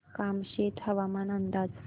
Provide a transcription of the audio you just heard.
कामशेत हवामान अंदाज